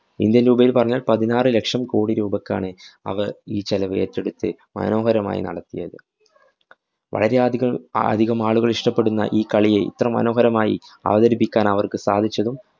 Indian‍ രൂപയില്‍ പറഞ്ഞാല്‍ പതിനാറ് ലക്ഷം കോടി രൂപക്കാണ് അവര്‍ ഈ ചെലവേറ്റെടുത്ത്, മനോഹരമായി നടത്തിയത്. വളരെയധികം അധികം ആളുകള്‍ ഇഷ്ട്ടപെടുന്ന ഈ കളിയെ, ഇത്ര മനോഹരമായി അവതരിപ്പിക്കാന്‍ അവര്‍ക്ക് സാധിച്ചതും